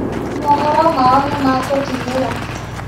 Mohoro mao nĩmatũkinyĩra